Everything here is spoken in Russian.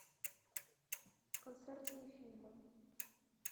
концертные фильмы